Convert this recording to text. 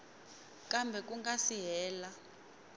kambe ku nga si hela